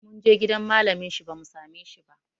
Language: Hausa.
Mun je gidan malamin shi bamu same shi ba